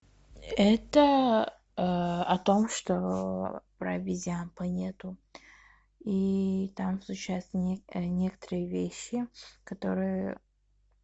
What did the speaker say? это о том что про обезьян планету и там случаются некоторые вещи которые